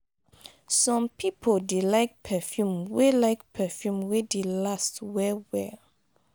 some pipo dey like perfume wey like perfume wey dey last well well